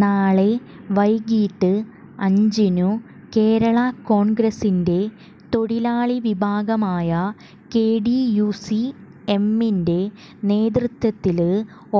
നാളെ വൈകിട്ട് അഞ്ചിനു കേരള കോണ്ഗ്രസിന്റെ തൊഴിലാളി വിഭാഗമായ കെടിയുസി എമ്മിന്റെ നേതൃത്വത്തില്